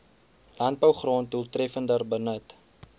landbougrond doeltreffender benut